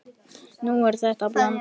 Nú verður þetta blanda.